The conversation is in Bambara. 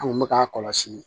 An kun bɛ k'a kɔlɔsi